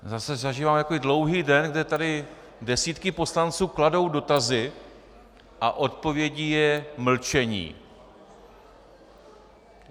Zase zažíváme takový dlouhý den, kdy tady desítky poslanců kladou dotazy a odpovědí je mlčení.